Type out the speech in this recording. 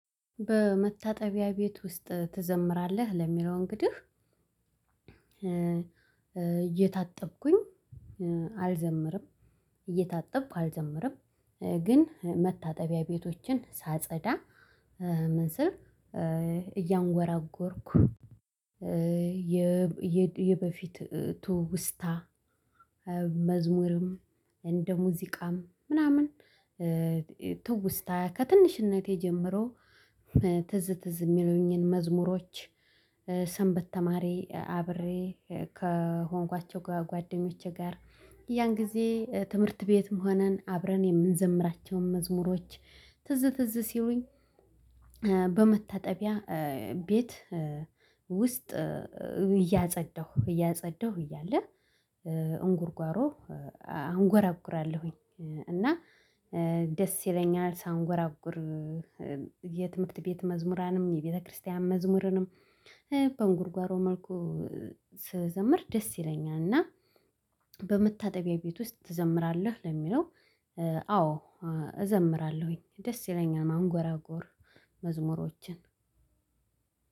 በመታጠቢያ ቤት ውስጥ ትዘምራለህ? ለሚለው እንግዲህ እየታጠብኩኝ አልዘምርም እየታጠብኩ አልዘምርም። ግን መታጠቢያ ቤቶችን ሳጸዳ ምንስል እያንጎራጎርኩ። የበፊት ትውስታ መዝሙርም እንደ ሙዚቃም ምናምን። ትውስታ ከትንሽነቴ ጀምሮ ትዝ ትዝ እሚሉኝን መዝሙሮች። ሰንበት ተማሪ አብሬ ከሆንኳቸው ጓደኞቼ ጋር ያን ጊዜ ትምህርት ቤትም ሆነን አብረን የምንዘምራቸውን መዝሙሮች ትዝ ትዝ ሲሉኝ። በመታጠቢያ ቤት ውስጥ እያጸዳሁ እያጸዳሁ እያለ እንጉርጓሮ አንጎራጉራለሁኝ። እና ደስ ይለኛል ሳንጎራጉር። የትምህርት ቤት መዝሙራንም የቤተክርስቲያን መዝሙርንም በንጉርጓሮ መልኩ ስዘምር ደስ ይለኛል። እና በመታጠቢያ ቤት ውስጥ ትዘምራለህ? ለሚለው አዎ እዘምራለሁኝ ደስ ይለኛል። ማንጎራጎር መዝሙሮችን